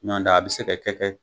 Nɔntɛ a bi se ka kɛ kɛ.